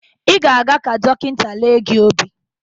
Ị ga-aga ka dọkịnta lee gị obi